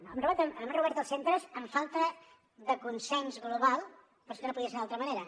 no hem obert els centres amb falta de consens global però és que no podia ser d’altra manera